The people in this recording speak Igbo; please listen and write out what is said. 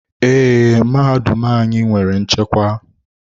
Ee, mahadum anyị nwere nchekwa.